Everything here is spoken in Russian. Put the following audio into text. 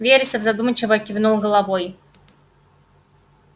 вересов задумчиво кивнул головой